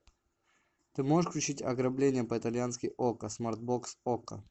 ты можешь включить ограбление по итальянски окко смарт бокс окко